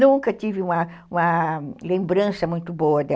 Nunca tive uma lembrança muito boa dela.